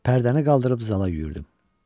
Pərdəni qaldırıb zala yüyürdüm.